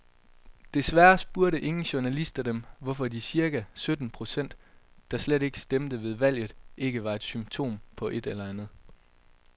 Desværre spurgte ingen journalister dem, hvorfor de cirka sytten procent, der slet ikke stemte ved valget, ikke var et symptom på et eller andet.